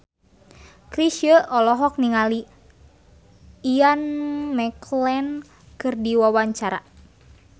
Chrisye olohok ningali Ian McKellen keur diwawancara